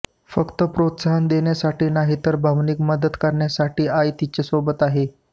फक्त प्रोत्साहन देण्यासाठी नाही तर भावनिक मदत करण्यासाठी आई तिच्या सोबत आहे